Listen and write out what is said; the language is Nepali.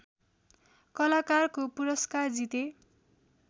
कलाकारको पुरस्कार जिते